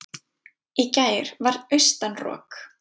í gær var austan rok